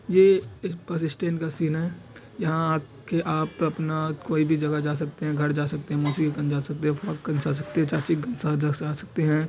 ये bus stand का scene है यहां आके आप अपना कोई भी जगह पर जा सकते हैं घर जा सकते है मौशियो कन जा सकते है फुआ कन जा सकते है चाची कन आ जा सकते हैं ।